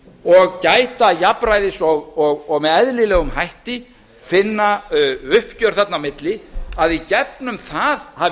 og gæta jafnræðis og með eðlilegum hætti finna uppgjör þarna á milli að í gegnum það hafi